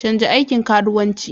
Canza aikin karuwanci.